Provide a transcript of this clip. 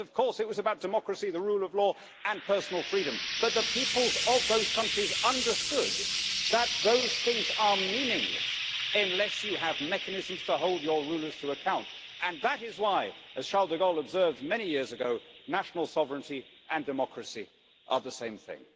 Yes, of course, it was about democracy, the rule of law and personal freedom, but the peoples of those countries understood that those things are meaningless unless you have mechanisms to hold your rulers to account, and that is why, as Charles de Gaulle observed many years ago, national sovereignty and democracy are the same thing.